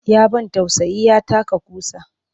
Ya ban tausayi ya taka ƙusa